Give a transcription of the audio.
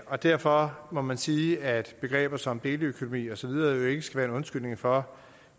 og derfor må man sige at begreber som deleøkonomi og så videre ikke skal være en undskyldning for